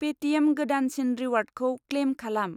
Paytm गोदानसिन रिवार्डखौ claim खालाम।